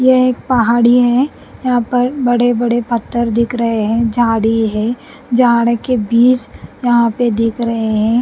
यह एक पहाड़ी है यहाँ पर बड़े-बड़े पत्थर दिख रहे हैं झाड़ी है झाड़ के बीज यहाँ पे दिख रहे हैं ।